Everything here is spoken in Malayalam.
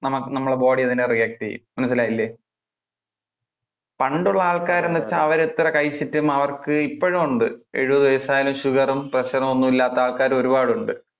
നമ്മളുടെ body അതിനു react ചെയ്യും മനസിലായില്ലേ. പണ്ടുള്ള ആൾക്കാര് എന്ന് വെച്ചാൽ അവര് എത്ര കഴിച്ചിട്ടും അവർക്ക് ഇപ്പോഴും ഉണ്ട് എഴുപതു വയസായാലു sugar, pressure ഒന്നും ഇല്ലാത്ത ആള്ക്കാര ഒരുപാട് ഉണ്ട്.